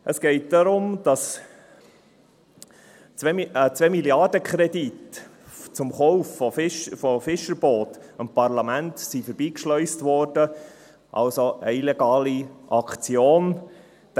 Es geht darum, dass ein 2-MilliardenKredit zum Kauf von Fischerbooten am Parlament vorbeigeschleust wurde, eine illegale Aktion also.